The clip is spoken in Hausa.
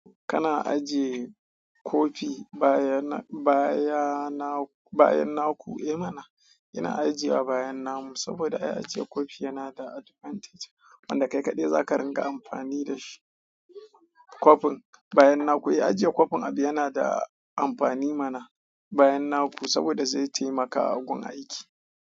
Kana ajiye kofi bayan na ku, eh mana? Ina ajiye a bayan na mu saboda ai ajiye kofi yana da advantage wanda kai kaɗai zaka ringa amfani da shi. Kofin bayan na ku, eh ajiye kofin abu yana da amfani mana bayan na ku saboda zai taimaka gun aiki.